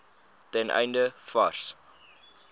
ten einde vars